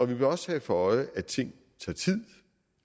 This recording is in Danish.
vil også have for øje at ting tager tid